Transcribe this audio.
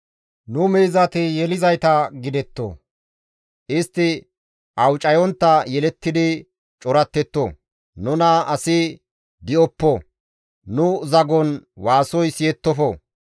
Nu miizati yelizayta gidetto; istti awucayontta yelettidi corattetto. Nuna asi di7oppo; nu zagon waasoy siyettofo.